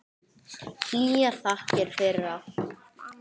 Hlýjar þakkir fyrir allt.